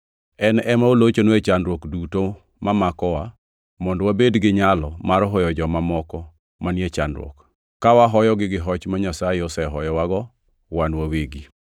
en ema olochonwa e chandruok duto mamakowa, mondo wabed gi nyalo mar hoyo joma moko manie chandruok, ka wahoyogi gi hoch ma Nyasaye osehoyowago wan wawegi.